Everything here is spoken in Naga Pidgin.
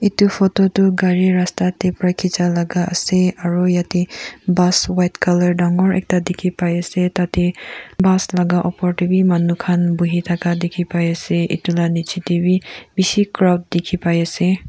edu photo tu gari rasta taepra khichi laga ase aro yatae bus white colour dangor ekta dikhipaiase ase taate bus laka opor tae bi manu khan buhithaka dikhi pai se edu la nichae tae bi bishi crowd dikhi pai ase.